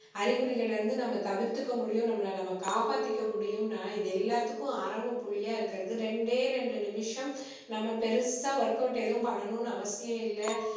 அறிகுறிகளில இருந்து நம்ம தவிர்த்துக்க முடியும் நம்மளை நம்ம காப்பாத்திக்க முடியும்னா இது எல்லாத்துக்கும் ஆரம்ப புள்ளியா இருக்கிறது ரெண்டே ரெண்டு நிமிஷம் நம்ம பெருசா work out எதுவும் பண்ணணும்னு அவசியம் இல்ல